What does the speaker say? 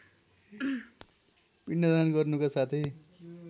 पिण्डदान गर्नुका साथै